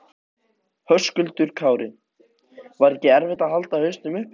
Höskuldur Kári: Var ekki erfitt að halda hausnum uppi?